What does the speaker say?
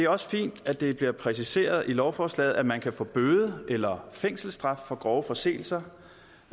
også fint at det bliver præciseret i lovforslaget at man kan få bøde eller fængselsstraf for grove forseelser